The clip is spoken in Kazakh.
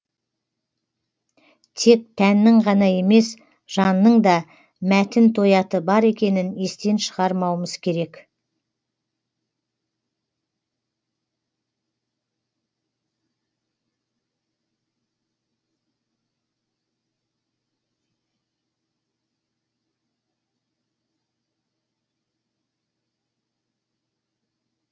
тек тәннің ғана емес жанның да мәтін тояты бар екенін естен шығармауымыз керек